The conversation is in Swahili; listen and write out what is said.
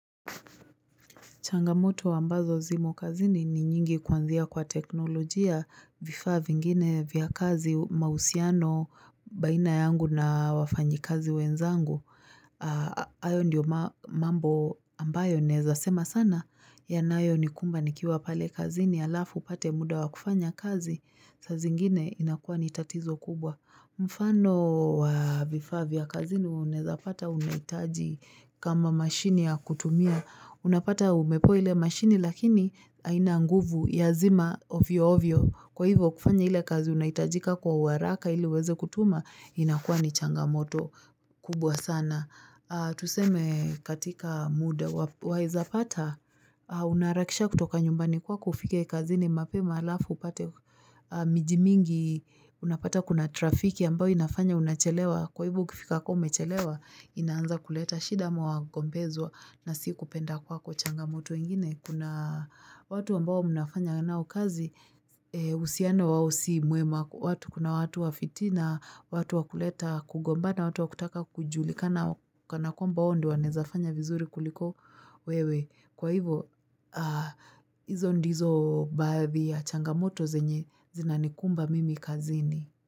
Changamoto ambazo zimo kazini ni nyingi kuanzia kwa teknolojia vifaa vingine vya kazi mausiano baina yangu na wafanyi kazi wenzangu. Ayo ndiyo mambo ambayo naezasema sana ya nayo nikumba nikiwa pale kazini alafu upate muda wakufanya kazi saa zingine inakuwa nitatizo kubwa. Mfano wa vifaa vya kazini unaeza pata unaitaji kama mashini ya kutumia Unapata umepewa ile mashini lakini haina nguvu ya zima ovyo ovyo Kwa hivyo kufanya ile kazi unaitajika kwa uaraka ili iweze kutuma inakuwa ni changamoto kubwa sana Tuseme katika muda waezapata unarahakisha kutoka nyumbani kwako ufike kazini mape ma alafu upate Mijimingi unapata kuna trafiki ambao inafanya unachelewa Kwa hivo ukifika ka umechelewa inaanza kuleta shida ama wagombezwa na si kupenda kwako changamoto ingine Kuna watu ambao mnafanya nao kazi uhusiano wao si mwema Kuna watu wafiti na watu wakuleta kugomba na watu wakutaka kujuli Kana kwa mba wao ndio wanaezafanya vizuri kuliko wewe Kwa hivyo, izo ndizo baadhi ya changamoto zina nikumba mimi kazini.